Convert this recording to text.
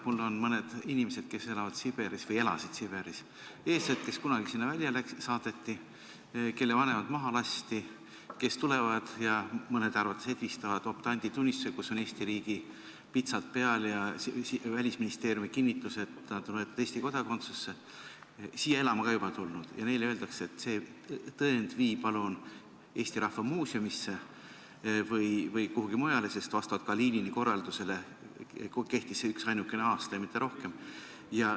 Mul on mõned inimesed, kes elavad Siberis või elasid Siberis, eestlased, kes kunagi sinna välja saadeti, kelle vanemad maha lasti, kes tulevad ja mõnede arvates edvistavad optanditunnistusega, kus on peal Eesti riigi pitsat ja Välisministeeriumi kinnitus, et ta tuleb Eesti kodakondsusse, siia elama ka juba tulnud, aga neile öeldakse, et see tõend vii palun Eesti Rahva Muuseumisse või kuhugi mujale, sest vastavalt Kalinini korraldusele kehtis see üksainuke aasta ja mitte rohkem.